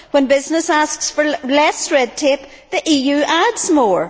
When business asks for less red tape, the EU adds more.